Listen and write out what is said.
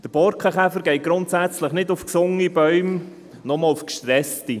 Der Borkenkäfer geht grundsätzlich nicht auf gesunde Bäume, sondern nur auf gestresste.